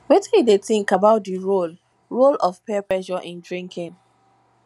wetin you think about di role role of peer pressure in drinking